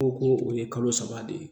Ko ko o ye kalo saba de ye